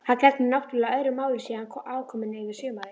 Það gegnir náttúrlega öðru máli sé hann aðkominn yfir sumarið.